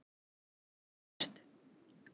Herbert